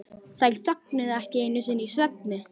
Þær þögnuðu ekki einu sinni í svefni.